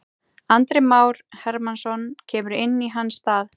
Andri Már Hermannsson kemur inn í hans stað.